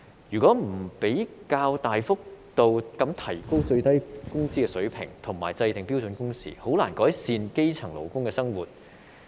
如果不較大幅度地提高最低工資水平，以及制訂標準工時，便難以改善基層勞工的生活。